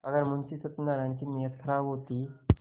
अगर मुंशी सत्यनाराण की नीयत खराब होती